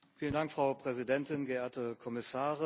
Frau Präsidentin, geehrte Kommissare!